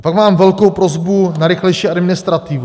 A pak mám velkou prosbu na rychlejší administrativu.